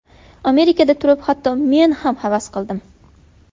Amerikada turib hatto men ham havas qildim.